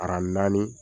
naani